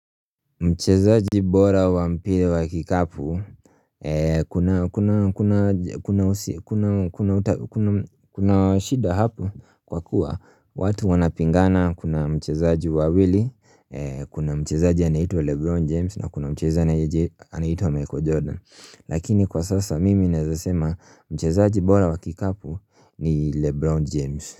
Mchezaji bora wa mpira wa kikapu, kuna shida hapo kwa kuwa watu wanapingana kuna mchezaji wawili, kuna mchezaji anaitwa Lebron James na kuna mchezaji anaitwa Michael Jordan Lakini kwa sasa mimi naeza sema mchezaji bora wa kikapu ni Lebron James.